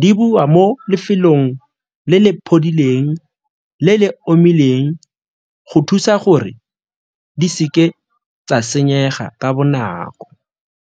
di bua mo lefelong le le le le omileng go thusa gore di seke tsa senyega ka bonako.